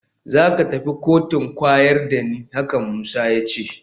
Za ka tafi koci kwayar da ni, haka Musa ya ce min